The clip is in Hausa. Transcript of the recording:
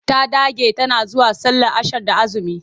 Ta dage tana zuwa sallar ashan da aazumi.